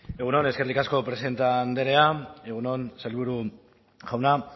egun on eskerrik asko presidente andrea egun on sailburu jauna